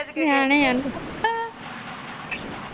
ਨਿਆਣੇ ਆ ਨਾ।